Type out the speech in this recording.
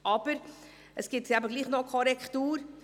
Aber, es gibt eben doch noch eine Korrektur: